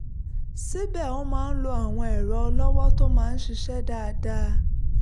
síbẹ̀ ó máa ń lo àwọn ẹ̀rọ ọlọ́wọ́ tó máa ń ṣiṣẹ́ dáadáa